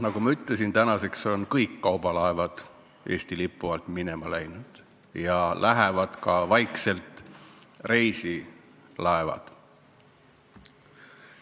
Nagu ma ütlesin, nüüdseks on kõik kaubalaevad Eesti lipu alt minema läinud ja lähevad vaikselt ka reisilaevad.